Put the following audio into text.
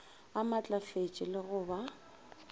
a maatlafetše le go ba